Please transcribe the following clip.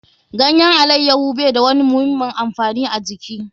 Ganyen alaiyaho bai da wani muhimmin amfani a jiki.